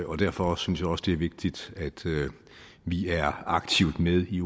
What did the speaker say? og derfor synes jeg også det er vigtigt at vi er aktivt med i